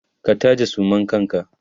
ka taje suman kanka!